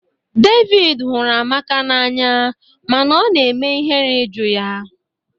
David hụrụ Amaka n'anya mana ọ na-eme ihere ịjụ ya